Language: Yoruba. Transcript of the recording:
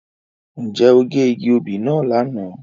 Nje o ge igi obí náa lana?